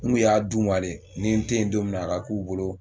N k'u y'a d'u ma de ni n te yen don minna a k'u bolo